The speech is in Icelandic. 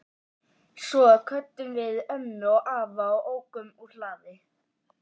Svo kvöddum við ömmu og afa og ókum úr hlaði.